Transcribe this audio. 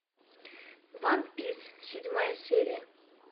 ван пис седьмая серия